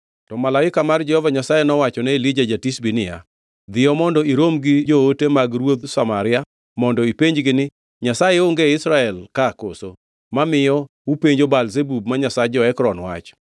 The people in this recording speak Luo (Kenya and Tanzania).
To malaika mar Jehova Nyasaye nowachone Elija ja-Tishbi niya, “Dhiyo mondo irom gi joote mag ruodh Samaria mondo ipenjgi ni, ‘Nyasaye onge e Israel ka koso mamiyo upenjo Baal-Zebub ma nyasach jo-Ekron wach?’